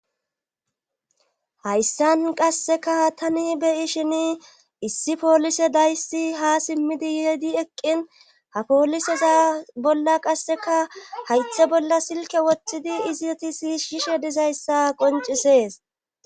Hayssan qasseka tani beyi shini issi poolise dayssi ha simmidi yehedi eqqin ha pooliseza bolla qasseka haythe bolla silke woththidi izi tisi shishe dizayssa qoncisees.